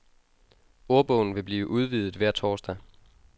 Ordbogen vil blive udvidet hver torsdag.